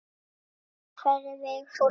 Góða ferð Vigfús minn.